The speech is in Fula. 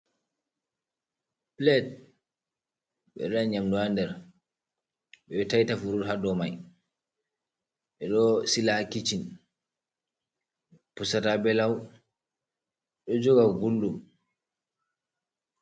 Pilate: Ɓeɗo waɗa nyamdu ha nder, ɓeɗo taita furud ha dow mai, ɓeɗo sila ha kicin, pusata be lau, ɗo joga gulɗum.